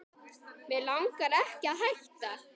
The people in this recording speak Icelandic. Mig langar ekki að hætta.